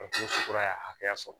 kura ya hakɛya sɔrɔ